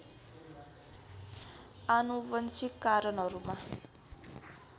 आनुवंशिक कारणहरूमा